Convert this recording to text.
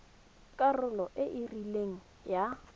karolo e e rileng ya